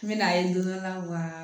N bɛ n'a ye don dɔ la wa